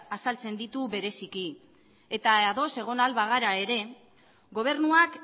azaltzen ditu bereziki eta ados egon ahal bagara ere gobernuak